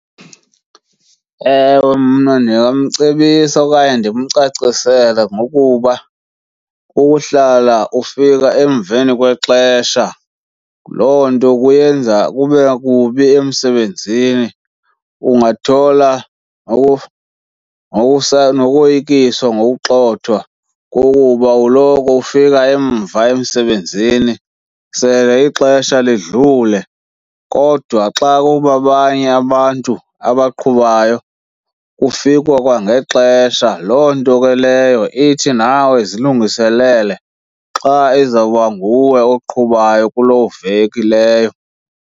Ewe, mna ndingamcebisa okanye ndimcacisele ngokuba ukuhlala ufika emveni kwexesha loo nto kuyenza kube kubi emsebenzini. Ungathola noyikiswa ngokugxothwa kukuba uloko ufika emva emsebenzini sele ixesha lidlule. Kodwa xa kubabanye abantu abaqhubayo kufikwa kwangexesha, loo nto ke leyo ithi nawe zilungiselele xa izawuba nguwe oqhubayo kuloo veki leyo.